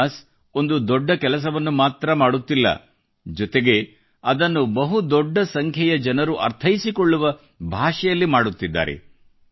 Jonas ಒಂದು ದೊಡ್ಡ ಕೆಲಸವನ್ನು ಮಾತ್ರ ಮಾಡುತ್ತಿಲ್ಲ ಜೊತೆಗೆ ಅದನ್ನು ಬಹು ದೊಡ್ಡ ಸಂಖ್ಯೆಯ ಜನರು ಅರ್ಥೈಸಿಕೊಳ್ಳುವ ಭಾಷೆಯಲ್ಲಿ ಮಾಡುತ್ತಿದ್ದಾರೆ